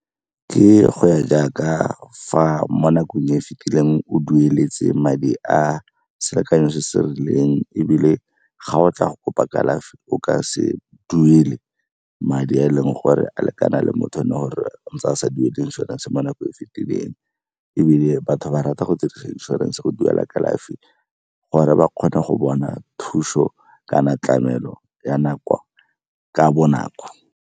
Ke go ya jaaka fa mo nakong e fitileng o dueletse madi a selekanyo se se rileng ebile ga o tla go kopa kalafi, o ka se duele madi a e leng gore a lekana le motho le gore ntse a sa duele inšorense mo nakong e fitileng. Ebile batho ba rata go tse dingwe inšorense go duelela kalafi gore ba kgone go bona thuso kana tlamelo ya nako ka bonako.